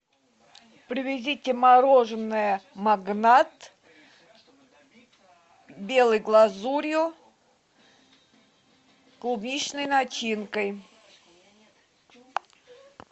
привезите мороженое магнат белой глазурью клубничной начинкой